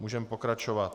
Můžeme pokračovat.